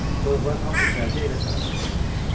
Toyuqlar hamısı cərgə ilə tara qonmuşdular.